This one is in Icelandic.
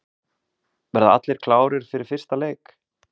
Verða allir klárir fyrir fyrsta leik?